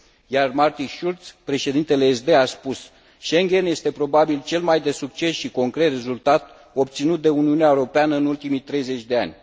Iar Martin Schulz, președintele SD, a spus Schengen este probabil cel mai de succes și concret rezultat obținut de Uniunea Europeană în ultimii 30 de ani.